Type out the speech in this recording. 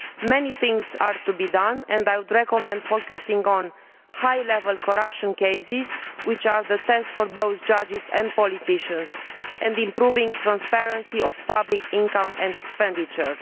Many things are to be done and I would recommend focusing on high level corruption cases, which are the test for both judges and politicians, and on improving transparency of public income and expenditure.